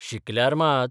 शिकल्यार मात